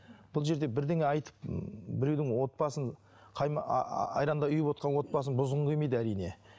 бұл жерде бірдеңе айтып біреудің отбасын ааа айрандай ұйып отырған отбасын бұзғың келмейді әрине